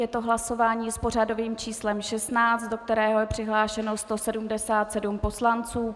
Je to hlasování s pořadovým číslem 16, do kterého je přihlášeno 177 poslanců.